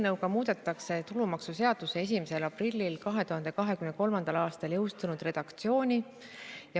Sellega muudetaks tulumaksuseaduse 1. aprillil 2023. aastal jõustunud redaktsiooni.